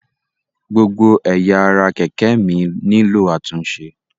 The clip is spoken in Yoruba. Gbogbo ẹ̀yà ara kẹ̀kẹ́ mi nílò àtúnṣe.